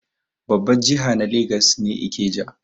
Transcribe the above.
Babbar jiha na legas ne Ikeja.